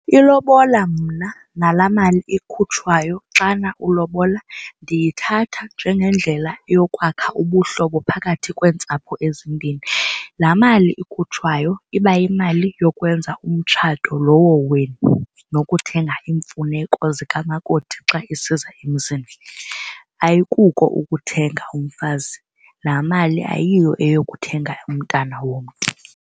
Ilobola mna nala mali ikhutshwayo xana ulobola ndiyithatha njengendlela yokwakha ubuhlobo phakathi kweentsapho ezimbini. Laa mali ikhutshwayo iba yimali yokwenza umtshato lowo wenu nokuthenga iimfuneko zikamakoti xa esiza emzini, ayikuko ukuthenga umfazi. Laa mali ayiyo eyokuthenga umntana womntu.